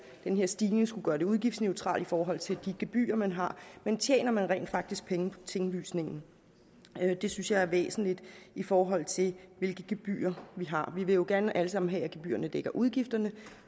den her stigning skulle gøre det udgiftsneutralt i forhold til de gebyrer man har men tjener man rent faktisk penge på tinglysningen det synes jeg er væsentligt i forhold til hvilke gebyrer vi har vi vil jo gerne alle sammen have at gebyrerne dækker udgifterne